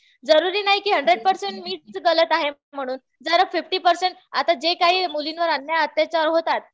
जरुरी नाही कि हंड्रेड पर्सेंट मीच गलत आहे म्हणून. जर फिफ्टी पर्सेंट जे आता काही मुलींवर अन्याय, अत्याचार होतात